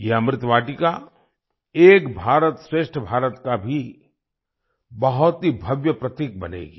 ये अमृत वाटिका एक भारतश्रेठ भारत का भी बहुत ही भव्य प्रतीक बनेगी